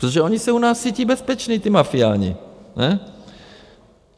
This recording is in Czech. - Protože oni se u nás cítí bezpeční, ti mafiáni, ne?